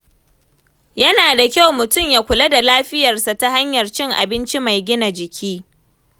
Yana da kyau mutum ya kula da lafiyarsa ta hanyar cin abinci mai gina jiki.